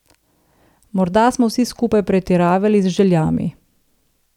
Morda smo vsi skupaj pretiravali z željami.